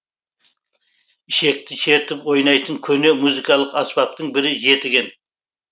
ішекті шертіп ойнайтын көне музыкалық аспаптың бірі жетіген